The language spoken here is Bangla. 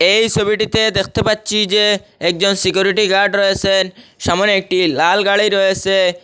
এই ছবিটিতে দেখতে পাচ্ছি যে একজন সিকিউরিটি গার্ড রয়েছেন সামনে একটি লাল গাড়ি রয়েসে।